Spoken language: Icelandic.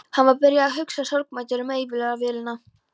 Hann var byrjaður að hugsa sorgmæddur um eilífðarvélina.